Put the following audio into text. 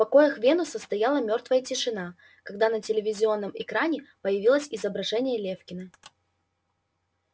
в покоях венуса стояла мёртвая тишина когда на телевизионном экране появилось изображение лефкина